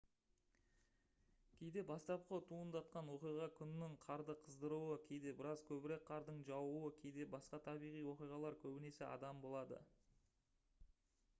кейде бастапқы туындатқан оқиға күннің қарды қыздыруы кейде біраз көбірек қардың жаууы кейде басқа табиғи оқиғалар көбінесе адам болады